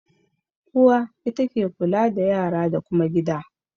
Uwa ita ke kula da yara da kuma gida.